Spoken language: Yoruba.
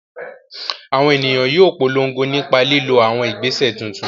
Àwọn ènìyàn yóò polongo nípa lílo àwọn ìgbésẹ̀ tuntun